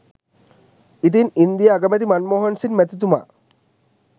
ඉතින් ඉන්දීය අගමැති මන්මෝහන් සිං මැතිතුමා